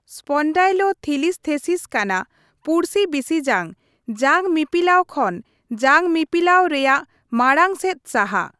Spondylolisthesis ᱠᱟᱱᱟ ᱯᱩᱲᱥᱤ ᱵᱤᱥᱤᱡᱟᱝ ᱡᱟᱝᱢᱤᱯᱤᱞᱟᱹᱣ ᱠᱷᱚᱱ ᱡᱟᱝᱢᱤᱯᱤᱞᱟᱹᱣ ᱨᱮᱭᱟᱜ ᱢᱟᱲᱟᱝ ᱥᱮᱫ ᱥᱟᱦᱟ ᱾